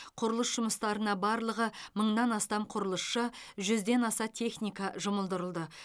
құрылыс жұмыстарына барлығы мыңнан астам құрылысшы жүзден аса техника жұмылдырылды